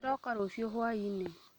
Ndĩroka rũcio hwaĩinĩ